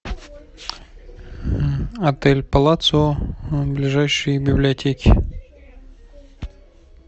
отель палацио ближайшие библиотеки